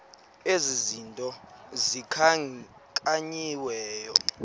ezi zinto zikhankanyiweyo